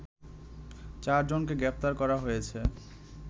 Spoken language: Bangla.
চার জনকে গ্রেপ্তার করা হয়েছে